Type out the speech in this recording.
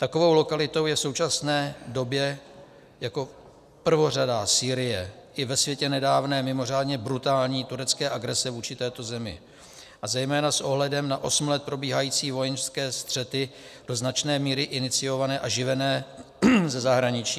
Takovou lokalitou je v současné době jako prvořadá Sýrie, i ve světle nedávné, mimořádně brutální turecké agrese vůči této zemi a zejména s ohledem na osm let probíhající vojenské střety, do značné míry iniciované a živené ze zahraničí.